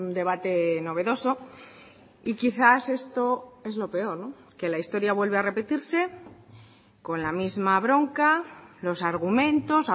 debate novedoso y quizás esto es lo peor que la historia vuelve a repetirse con la misma bronca los argumentos